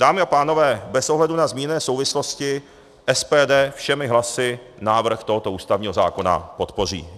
Dámy a pánové, bez ohledu na zmíněné souvislosti SPD všemi hlasy návrh tohoto ústavního zákona podpoří.